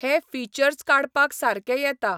हे फिचर्ज काडपाक सारके येता.